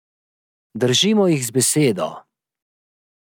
Držimo jih za besedo.